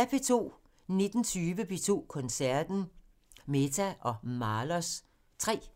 19:20: P2 Koncerten – Mehta & Mahlers 3